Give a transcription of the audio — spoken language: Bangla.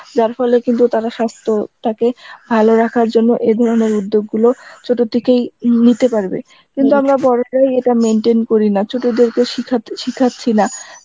যার ফলে কিন্তু তারা সাস্থ্য টাকে ভালো রাখার জন্য এ ধরনের উদ্যোগ গুলো চত থেকেই নিতে পারবে, কিন্তু আমরা বড়রাই এটা maintain করি না ছোটো দেরকে শিখা~ শিখাছি না